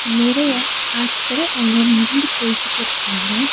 நிறைய ஆட்கள் அங்க நடந்து போய்க்கிட்டுருக்காங்க.